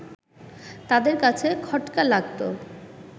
তাদের কাছে খটকা লাগত